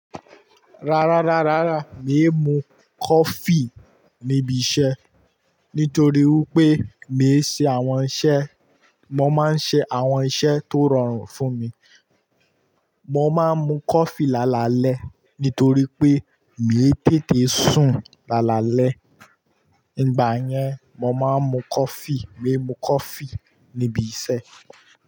Rárá, rárá, rárá, mi ò mú coffee níbi iṣẹ́. Nítorí wípé mi ò ṣe àwọn iṣẹ́, mo máa ń ṣe àwọn iṣẹ́ tó rọrùn fún mi. Mo máa ń mu coffee lálalẹ́ nítorí pé mi ò tètè sùn lálalẹ́. Nígbà yẹn mo máa ń mu coffee, mi ò mú coffee níbi iṣẹ́